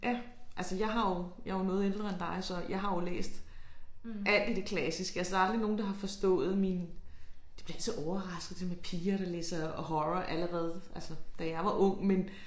Ja altså jeg har jo jeg er jo noget ældre end dig så jeg har jo læst alt i det klassiske altså der er aldrig nogen der har forstået min de bliver så overraskede det med piger der læser horror altså allerede da jeg var ung men